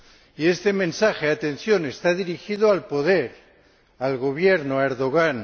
Y este mensaje de atención está dirigido al poder, al Gobierno, a Erdogan